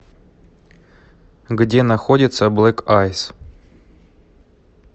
где находится блэк айс